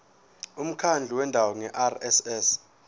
umkhandlu wendawo ngerss